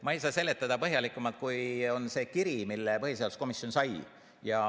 Ma ei saa selgitada põhjalikumalt, kui on selles kirjas, mille põhiseaduskomisjon sai.